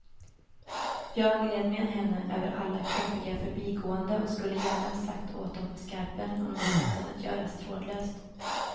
Jag led med henne över alla klumpiga förbigåenden och skulle gärna ha sagt åt dem på skarpen om det hade kunnat göras trådlöst.